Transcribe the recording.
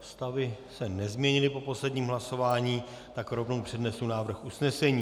Stavy se nezměnily po posledním hlasování, tak rovnou přednesu návrh usnesení.